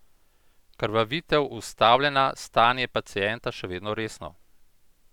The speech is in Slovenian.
Krvavitev ustavljena, stanje pacienta še vedno resno!